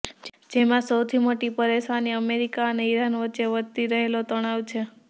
જેમાં સૌથી મોટી પરેશાની અમેરિકા અને ઈરાન વચ્ચે વધતી રહેલો તણાવ છે